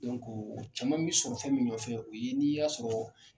o caman bɛ sɔrɔ fɛn min ɲɔfɛ o ye n'i y'a sɔrɔ